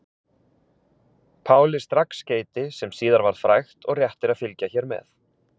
Páli strax skeyti sem síðar varð frægt og rétt er að fylgi hér með.